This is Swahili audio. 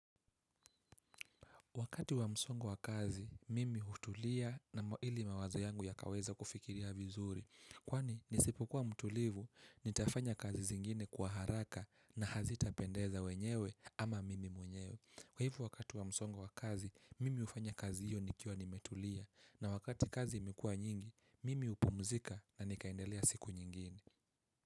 Wakati wa msongo wa kazi, mimi hutulia na ili mawazo yangu yakaweza kufikiria vizuri. Kwani, nisipokuwa mtulivu, nitafanya kazi zingine kwa haraka na hazita pendeza wenyewe ama mimi mwenyewe. Kwa hivo wakati wa msongo wa kazi, mimi hufanya kazi hiyo nikiwa nimetulia na wakati kazi imekuwa nyingi, mimi hupumzika na nikaendelea siku nyingine.